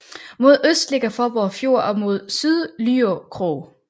Mod øst ligger Fåborg Fjord og mod syd Lyø Krog